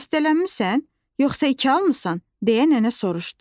Xəstələnmisən, yoxsa iki almısan, deyə nənə soruşdu.